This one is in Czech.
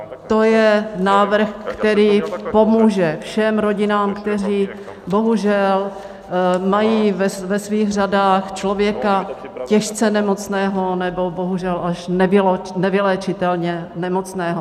To je návrh, který pomůže všem rodinám, které bohužel mají ve svých řadách člověka těžce nemocného nebo bohužel až nevyléčitelně nemocného.